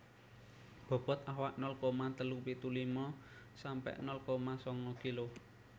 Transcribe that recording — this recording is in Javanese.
Bobot awak nol koma telu pitu lima sampe nol koma sanga kilo